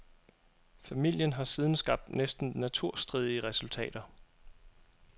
Familien har siden skabt næsten naturstridige resultater.